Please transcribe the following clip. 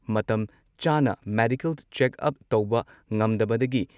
ꯃꯇꯝ ꯆꯥꯅ medical checkup ꯇꯧꯕ ꯉꯝꯗꯕꯗꯒꯤ